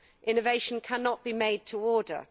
Innovation cannot be made to order.